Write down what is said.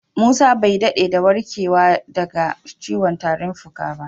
Musa bai dada da warkewa da ga ciwon tarin fuka.